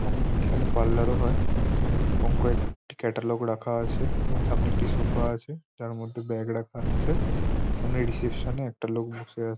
এবং এখানে পার্লার ও হয় এবং কয়েকটি ক্যাডলক রাখা আছে এবং সামনে একটি সোফা আছে তার মধ্যে ব্যাগ রাখা আছে সামনে রিসেপ্সন -এ একটা লোক বসে আ--